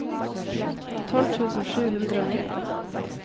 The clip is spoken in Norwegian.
tolv tusen sju hundre og nittini